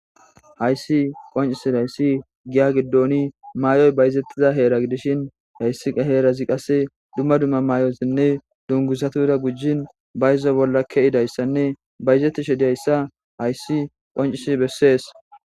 Hayssi qoncisi dayssi giya giddooni maay'oy bayizettiza heera gidishin hayssi heerazi qase dumma dumma maay'osinne dungusatura gujin bayzo bolla keidayssanne bayizettishe diyayssa hayssi qoncisi bessees.